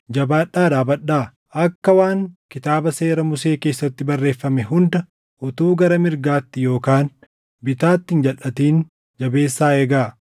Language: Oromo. “Jabaadhaa dhaabadhaa; akka waan Kitaaba Seera Musee keessatti barreeffame hunda, utuu gara mirgaatti yookaan bitaatti hin jalʼatin jabeessaa eegaa.